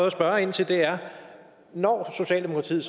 at spørge ind til er når socialdemokratiet